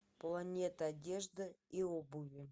планета одежды и обуви